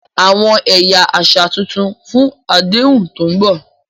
Àwọn ẹ̀yà àṣà tuntun fún àdéhùn tó ń bọ̀.